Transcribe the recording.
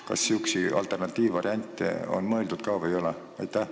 Kas sihukeste alternatiivvariantide peale on mõeldud või ei ole?